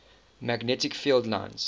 magnetic field lines